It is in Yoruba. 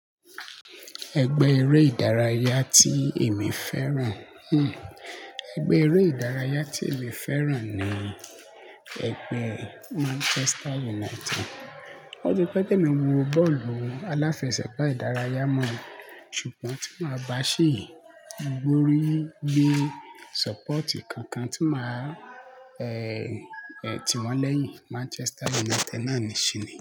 Ẹgbẹ́ eré ìdárayá tí èmi féràn, ẹgbẹ́ eré ìdárayá tí èmi féràn ni ẹgbẹ́ Manchester United. Ó ti pẹ́ tí emi o wo bọ́ọ̀lù mo, aláfẹsẹ̀gbá ìdárayá mọ́, ṣùgbọ́n tí màá bá ṣì gbórí gbé sọ́pọ̀tì kankan tí màá, ẹ ti wọ̀ lẹ́yìn Manchester United náà ní ṣìní.